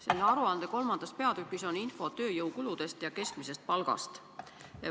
Selle aruande 3. peatükis on info tööjõukuludest ja keskmisest palgast.